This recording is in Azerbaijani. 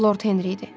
Lord Henri idi.